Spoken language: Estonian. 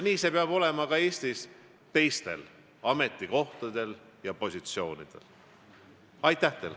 Nii peab see Eestis olema ka teiste ametikohtade ja positsioonide puhul.